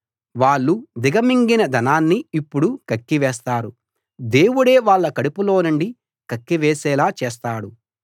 వాళ్ళు దిగమింగిన ధనాన్ని ఇప్పుడు కక్కివేస్తారు దేవుడే వాళ్ళ కడుపులోనుండి కక్కివేసేలా చేస్తాడు